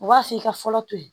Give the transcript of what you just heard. U b'a f'i ka fɔlɔ to ye